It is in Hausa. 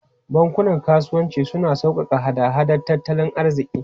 Bankunan kasuwanci suna sauƙaƙe hada-hadar tattalin arziki.